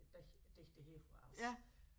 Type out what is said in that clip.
Digter her fra Als